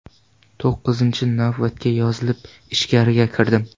To‘qqizinchi navbatga yozilib, ichkariga kirdim.